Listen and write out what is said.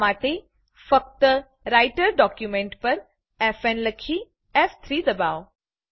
આ માટે ફક્ત રાઈટર ડોક્યુંમેંટ પર ફ ન લખી ફ3 દબાવો